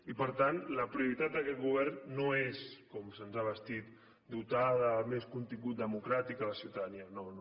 i per tant la prioritat d’aquest govern no és com se’ns ha vestit dotar de més contingut democràtic la ciutadania no no